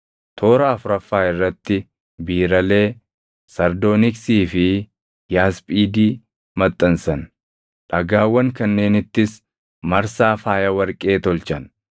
toora afuraffaa irratti biiralee, sardooniksii fi yaasphiidi maxxansan. Dhagaawwan kanneenittis marsaa faaya warqee tolchan.